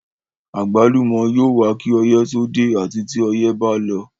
Àgbálùmọ́ yóò wà kí ọyẹ́ tó dé àti tí ọyẹ́ ba lọ.